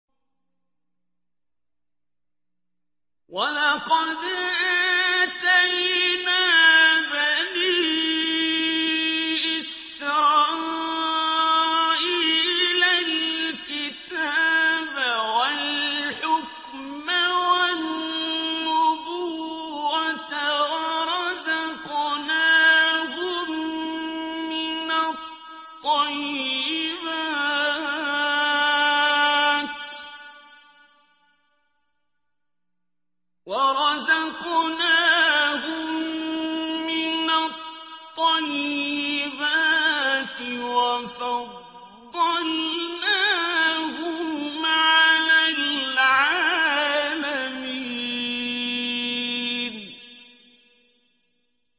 وَلَقَدْ آتَيْنَا بَنِي إِسْرَائِيلَ الْكِتَابَ وَالْحُكْمَ وَالنُّبُوَّةَ وَرَزَقْنَاهُم مِّنَ الطَّيِّبَاتِ وَفَضَّلْنَاهُمْ عَلَى الْعَالَمِينَ